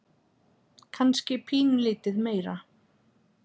Kannski pínulítið meira.